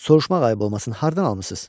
Soruşmaq ayıb olmasın, hardan almısız?